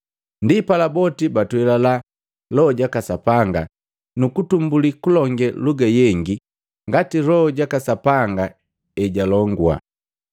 Ndipala boti batwelila Loho jaka Sapanga, nukutumbuli kulonge luga yengi ngati Loho ja Sapanga ejalongua.